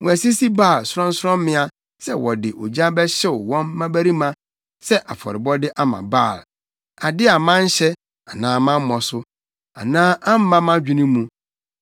Wɔasisi Baal sorɔnsorɔmmea sɛ wɔde ogya bɛhyew wɔn mmabarima sɛ afɔrebɔde ama Baal, ade a manhyɛ anaa mammɔ so, anaa amma mʼadwene mu.